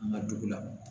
An ka dugu la